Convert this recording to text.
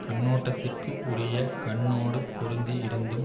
கண்ணோட்டதிற்க்கு உரிய கண்ணோடுப் பொருந்தி இருந்தும்